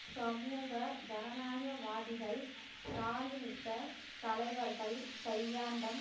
சமூக ஜனநாயகவாதிகள் ஸ்ராலினிசத் தலைவர்கள் கையாண்ட